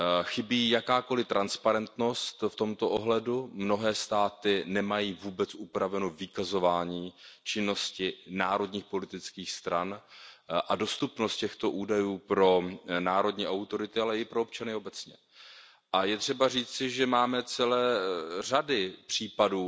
Chybí jakákoli transparentnost v tomto ohledu, mnohé státy nemají vůbec upraveno vykazování činnosti národních politických stran a dostupnost těchto údajů pro národní autority, ale i pro občany obecně. A je třeba říci, že máme celé řady případů,